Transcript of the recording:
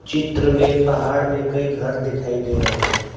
चित्र में पहाड़ में कई घर दिखाई दे रहे हैं।